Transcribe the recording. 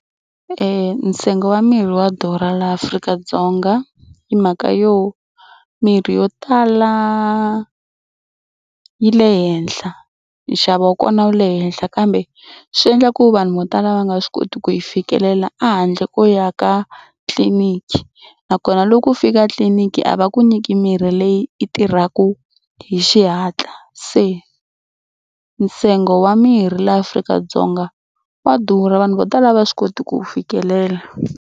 Ntsengo wa mirhi wa durha laha Afrika-Dzonga hi mhaka yo mirhi yo tala yi le henhla nxavo wa kona wu le henhla kambe swi endla ku vanhu vo tala va nga swi koti ku yi fikelela a handle ko ya ka tliliniki nakona loko u fika tliliniki a va ku nyiki mirhi leyi i tirhaka hi xihatla. Se ntsengo wa mirhi laha Afrika-Dzonga wa durha vanhu vo tala va swi koti ku fikelela.